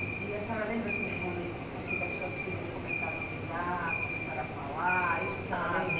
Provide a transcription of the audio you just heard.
E a senhora lembra, assim, dos momentos, assim, que as suas filhas começaram a andar, começaram a falar, isso a senhora lembra?